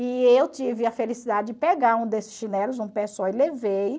E eu tive a felicidade de pegar um desses chinelos, um pé só, e levei.